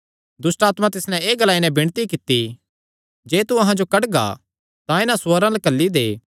दुष्टआत्मां तिस नैं एह़ ग्लाई नैं विणती कित्ती जे तू अहां जो कड्डगा तां इन्हां सूअरां च घल्ली दे